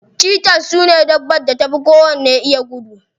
Cheaters sune dabbar da ta fi kowacce iya gudu.